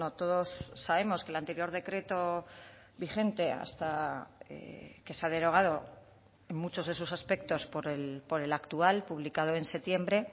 todos sabemos que el anterior decreto vigente hasta que se ha derogado en muchos de esos aspectos por el actual publicado en septiembre